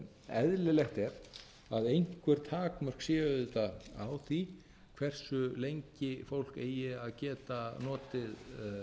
eðlilegt er að einhver takmörk séu auðvitað á því hversu lengi fólk eigi að geta notið